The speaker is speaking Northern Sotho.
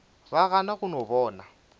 ba gana go no bona